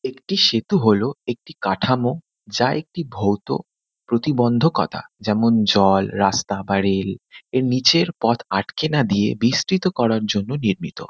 একটি সেতু হলো একটি কাঠামো। যা একটি ভৌত প্রতিবন্ধকতা। যেমন- জল রাস্তা বা রেল। এর নীচের পথ আটকে না দিয়ে বিস্তৃত করার জন্য নির্মিত।